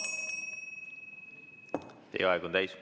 Teie aeg on täis.